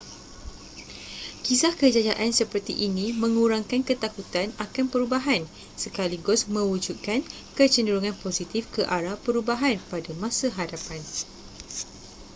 kisah kejayaan seperti ini mengurangkan ketakutan akan perubahan sekaligus mewujudkan kecenderungan positif ke arah perubahan pada masa hadapan